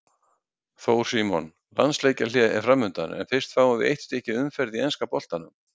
Þór Símon Landsleikjahlé er framundan en fyrst fáum við eitt stykki umferð í enska boltanum.